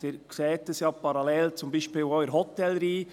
Sie sehen dies ja parallel beispielsweise auch in der Hotellerie.